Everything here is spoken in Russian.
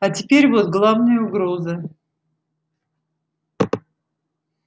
а теперь вот главная угроза